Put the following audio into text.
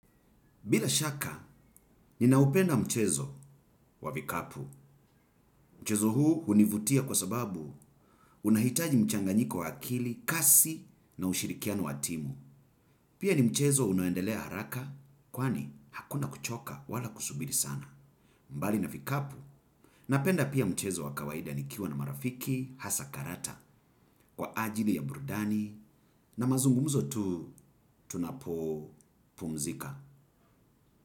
Bila shaka, ninaupenda mchezo wa vikapu. Mchezo huu hunivutia kwa sababu unahitaji mchanganyiko wa akili, kasi na ushirikiano wa timu. Pia ni mchezo unaoendelea haraka, kwani hakuna kuchoka wala kusubiri sana. Mbali na vikapu, napenda pia mchezo wa kawaida nikiwa na marafiki, hasa karata, kwa ajili ya burudani, na mazungumzo tu, tunapopumzika.